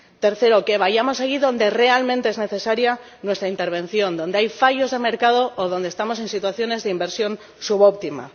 Tercero, que vayamos allí donde realmente es necesaria nuestra intervención, donde hay fallos de mercado o donde estamos en situaciones de inversión subóptima.